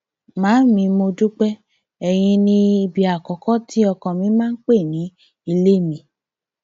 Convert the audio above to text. màámi mo dúpẹ ẹyìn ní ibi àkọkọ tí ọkàn mi máa ń pẹ ní ilé mi